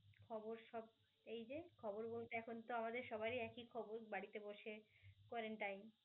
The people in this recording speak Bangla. খবর সব এই যে খবর বলতে এখন তো আমাদের সবারই একি খবর, বাড়িতে বসে quarantine